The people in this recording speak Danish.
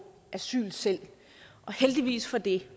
asyl selv og heldigvis for det